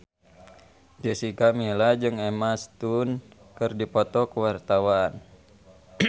Jessica Milla jeung Emma Stone keur dipoto ku wartawan